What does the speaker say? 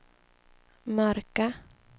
mörka